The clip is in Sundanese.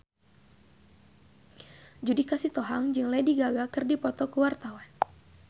Judika Sitohang jeung Lady Gaga keur dipoto ku wartawan